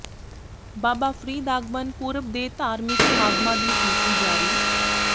ਬਾਬਾ ਫ਼ਰੀਦ ਆਗਮਨ ਪੁਰਬ ਦੇ ਧਾਰਮਿਕ ਸਮਾਗਮਾਂ ਦੀ ਸੂਚੀ ਜਾਰੀ